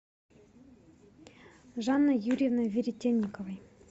жанной юрьевной веретенниковой